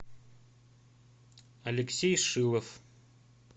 алексей шилов